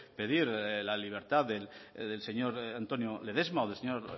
pedir la libertad del señor antonio ledesma o del señor